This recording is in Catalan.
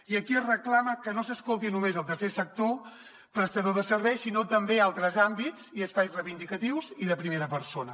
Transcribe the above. i aquí es reclama que no s’escolti només el tercer sector prestador de serveis sinó també altres àmbits i espais reivindicatius i de primera persona